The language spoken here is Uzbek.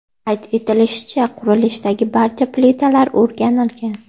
Qayd etilishicha, qurilishdagi barcha plitalar o‘rganilgan.